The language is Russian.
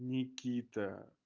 никита